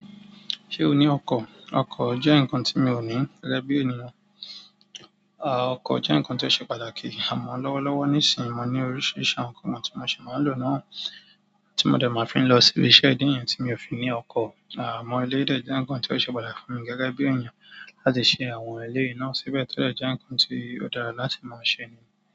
Ṣé o ní ọkọ̀? Ọkọ̀ jẹ́ nǹkan tí mi ò ní gẹ́gẹ́ bí ènìyàn. À, ọkọ̀ jẹ́ nǹkan tó ṣe pàtàkì. Àmọ́ lọ́wọ́lọ́wọ́ nísìínyi mo ní oríṣiríṣi ọkọ̀ tí mo ṣe máa ń lò náà, tí mo dẹ̀ máa ń fi lọ sí ibi iṣẹ́ díẹ̀ yẹn tí mi ò fi ní ọkọ̀. Àmọ́ eléyi dẹ̀ jẹ́ nǹkan tó ṣe pàtàkì fún mi gẹ́gẹ́ bí ènìyàn láti ṣe àwọn eleyi náà síbẹ̀ to dẹ̀ jẹ́ nǹkan tó dára láti máa ṣe nì.